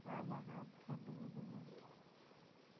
ஆமா காத்து sound கேக்குது